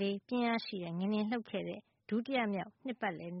၄ ပြင်းအားရှိတဲ့ ငလျင်လှုပ်ခဲ့တဲ့ ဒုတိယမြောက် နှစ်ပါတ်လည် န